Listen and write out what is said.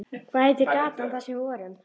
Hvað heitir gatan þar sem við vorum?